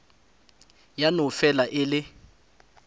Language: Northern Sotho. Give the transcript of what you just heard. ya no fela e le